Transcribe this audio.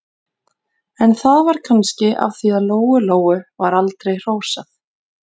En það var kannski af því að Lóu-Lóu var aldrei hrósað.